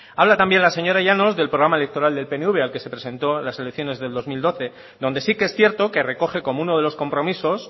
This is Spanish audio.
habla también la señora llanos del programa electoral del pnv al que se presentó en las elecciones del dos mil doce donde sí que es cierto que recoge como uno de los compromisos